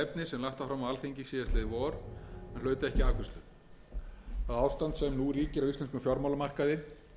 sem lagt var fram á alþingi síðastliðið vor en hlaut ekki afgreiðslu það ástand sem nú ríkir á íslenskum fjármálamarkaði